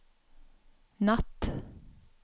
natt